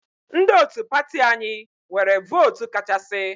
Ndị otu pati anyị nwere vootu kachasị.